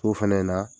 So fɛnɛ in na